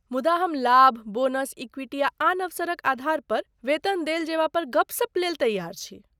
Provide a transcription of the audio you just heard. मुदा हम लाभ, बोनस, इक्विटी आ आन अवसरक आधार पर वेतन देल जेबा पर गपशप लेल तैयार छी।